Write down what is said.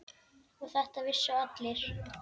Og þetta vissu allir.